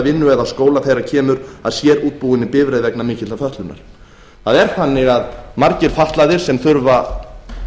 vinnu eða skóla þegar kemur að sérútbúinni bifreið vegna mikillar fötlunar það er þannig að margir fatlaðir sem þurfa